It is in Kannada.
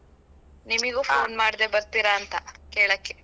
ನಿಮಿಗೂ phone ಮಾಡ್ದೇ ಬರ್ತೀರ ಅಂತ ಕೇಳಕ್ಕೆ.